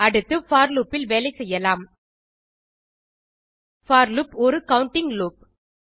அடுத்து for loop ல் வேலை செய்யலாம் போர் லூப் ஒரு கவுண்டிங் லூப்